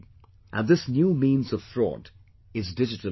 And this new means of fraud is digital fraud